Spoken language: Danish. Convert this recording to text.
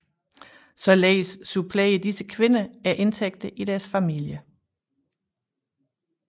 Således supplerer disse kvinder indtægterne i deres familie